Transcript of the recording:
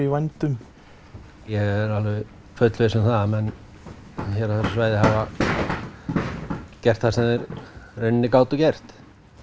vændum ég er alveg fullviss um að menn hér á þessu svæði höfðu gert það sem þeir gátu gert